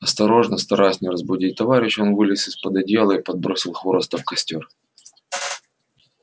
осторожно стараясь не разбудить товарища он вылез из под одеяла и подбросил хвороста в костёр